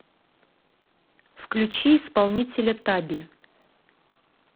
включи исполнителя таби